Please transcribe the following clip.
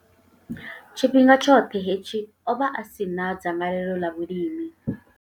Tshifhinga tshoṱhe hetshi, o vha a si na dzangalelo ḽa vhulimi.